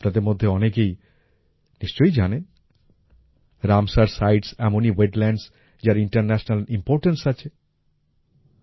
আপনাদের মধ্যে অনেকেই নিশ্চয়ই জানেন রামসার সাইটস রামসার সাইটস এমনই ওয়েটল্যান্ডস যার ইন্টারন্যাশনাল ইম্পর্টেন্স আছে